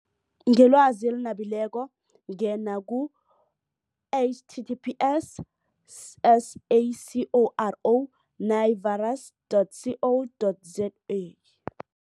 Ngelwazi eli nabileko ngena ku-H T T P S S A C O R O navirus dot C O dot Z A.